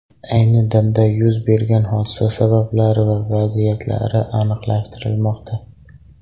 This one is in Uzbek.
Ayni damda yuz bergan hodisa sabablari va vaziyatlari aniqlashtirilmoqda.